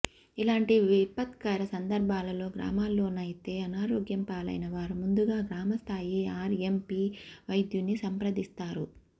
ఇలాంటి విపత్కర సందర్భాలలో గ్రామాల్లోనైతే అనారోగ్యం పాలైన వారు ముందుగా గ్రామ స్థాయి ఆర్ఎంపి వైద్యుణ్ణి సంప్రదిస్తారు